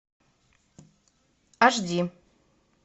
аш ди